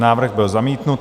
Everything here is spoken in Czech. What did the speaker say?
Návrh byl zamítnut.